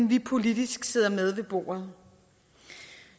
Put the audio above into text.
vi politisk sidder med ved bordet